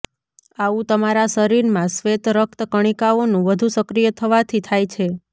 આવું તમારા શરીર માં શ્વેત રક્ત કણિકાઓ નું વધુ સક્રિય થવા થી થાય છે